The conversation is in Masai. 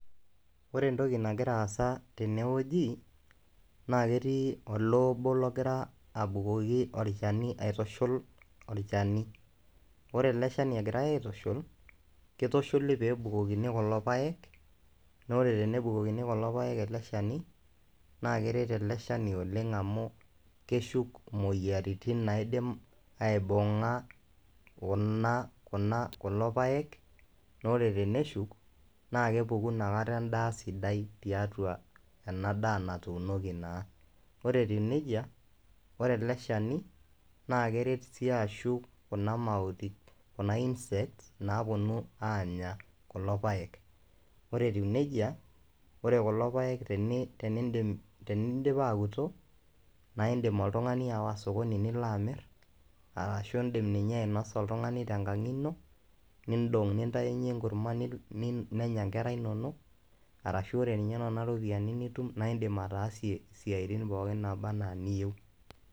Ore entoki nagira aasa tene wueji naake etii ole obo logira abukoki olchani aitushul olchani, ore ele shani egirai aitushul kitushuli pee ebukokini kulo paek naa ore tenebukokini kulo paek ele shani naake eret ele shani oleng' amu keshuk moyiaritin naidim aibung'a kuna kuna kulo paek naa ore teneshuk naake epuku inakata endaa sidai tiatua ena daa natuunoki naa. Ore etiu neija, ore ele shani naake eret siii ashuk kuna mautik kuna insects naaponu aanya kulo paek. Ore etiu neija ore kulo paek teni tenindim tenidip aoto nae indim oltung'ani ayawa sokoni nilo amir arashu indim ninye ainosa oltung'ani te nkang'ino niindong' nintayunye enkurma ni ni nenya nkera inonok arashu ore nena ropiani nitum naa indim ataasie siaitin pookin naaba naa niyeu.